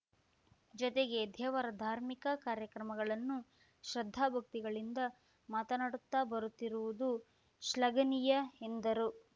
ಜೊತೆಗೆ ದೇವರ ಧಾರ್ಮಿಕ ಕಾರ್ಯಕ್ರಮಗಳನ್ನು ಶ್ರದ್ಧಾ ಭಕ್ತಿಗಳಿಂದ ಮಾತನಾಡುತ್ತಾ ಬರುತ್ತಿರುವುದು ಶ್ಲಾಘನೀಯ ಎಂದರು